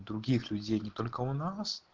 других людей не только у нас